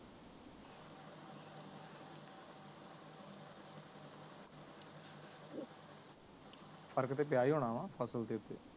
ਫਰਕ ਤੇ ਪੀਯਾ ਏ ਹੋਣਾ ਵਾ ਫ਼ਸਲ ਦੇ ਉਤੇ